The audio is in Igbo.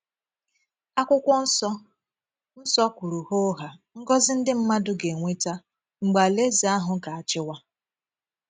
Akwụkwọ nsọ nsọ kwùrù hoo haa ngọzi ndị mmadụ ga - enweta mgbe Alaeze ahụ ga - achìwà.